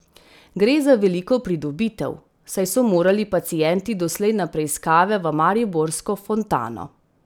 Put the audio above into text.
Gre za veliko pridobitev, saj so morali pacienti doslej na preiskave v mariborsko Fontano.